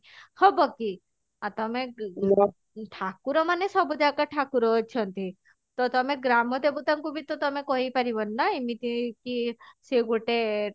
ହବ କି ଆଉ ତମେ ଠାକୁର ମାନେ ସବୁ ଜାଗା ଠାକୁର ଅଛନ୍ତି ତ ତମେ ଗ୍ରାମ ଦେବତା ଙ୍କୁ ବି ତ ତମେ କହି ପାରିବନି ନା ଏମିତି କି ସେ ଗୋଟେ